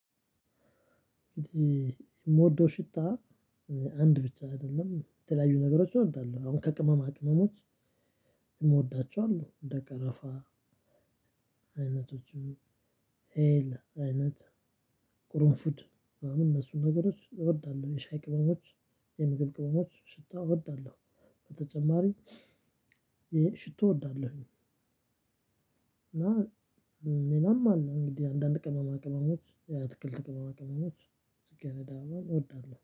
ምወደው ሽታ አንድ ብቻ አይደለም የተለያዩ ነገሮች እወዳለሁ። አሁን ከቅመማ ቅመሞች እምወዳቸው አሉ እንደ ቀረፋ። አይነቶቹም አይነት ቁርንፉድ ምናምን እነሱን ነገሮች እወዳለሁ። የሻይ ቅመሞች የምግብ ቅመሞች ሽታ እወዳለሁ። በተጨማሪ ይሄ ሽቶ እወዳለሁኝ። እና ሌላም አለ አንዳንድ ቀማማ ቅመሞች የአትክልት ቅመማ ቅመሞች ጽጌረዳ አበባም እወዳለሁ